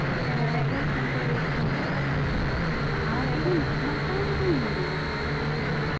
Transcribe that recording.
এবার একবার ফোন করে দেখতে হবে একা থাকে আমার থেকে কি নাম্বার টাও না নিয়ে নেয়